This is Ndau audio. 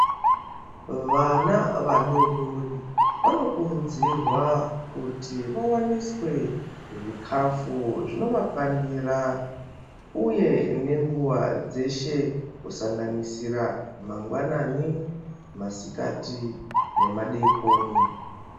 Vana vadoodori vanokurudzirwa kuti vawaniswe zvikafu zvinovakwanira uye nenguwa dzeshe kusanganisira mangwanani, masikati nemadeekoni.